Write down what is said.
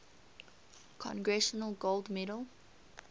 congressional gold medal